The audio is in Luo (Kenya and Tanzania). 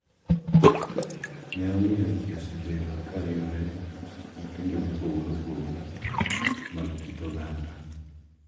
Ne omiyo ji osebedo ka riwre gi timbe mopogore opogore mag kit oganda.